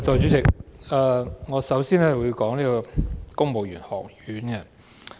代理主席，我首先會談談公務員學院。